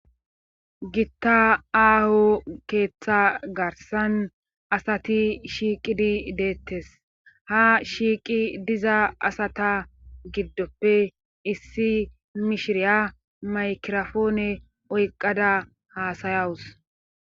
gitta aaho keeththa garsan asati shiiqidi deettes ha shiiqi diza asata giddoppe issi mishiriya maykirofoone oyqada haasayawus